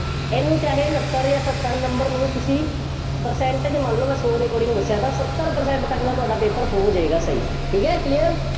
ਇਹਨੂੰ ਚਾਹੇ ਉਨੱਤਰ ਜਾਂ ਸੱਤਰ number ਨੂੰ ਤੁਸੀਂ percentage ਮੰਨ ਲਓ। ਮੈਂ ਸੌ ਦੇ according ਦੱਸਿਆ ਥਾ, ਸੱਤਰ percent ਤੱਕ ਦਾ ਤੁਹਾਡਾ paper ਹੋ ਜਾਏਗਾ, ਸਹੀ, ਠੀਕ ਹੈ, clear